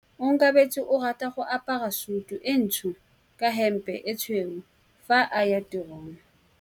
Onkabetse o rata go apara sutu e ntsho ka hempe e tshweu fa a ya tirong.